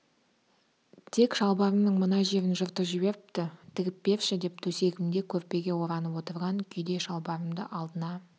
тек шалбарымның мына жерін жыртып жіберіпті тігіп берші деп төсегімде көрпеге оранып отырған күйде шалбарымды алдына